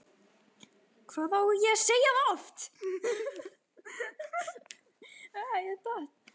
Hvað á ég að segja það oft?!